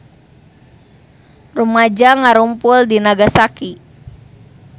Rumaja ngarumpul di Nagasaki